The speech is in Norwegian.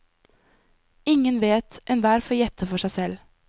Ingen vet, enhver får gjette for seg selv.